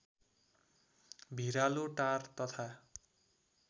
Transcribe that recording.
भिरालो टार तथा